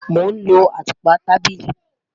Mo n lọ atúpa tábílì